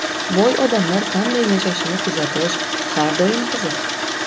Boy odamlar qanday yashashini kuzatish har doim qiziq.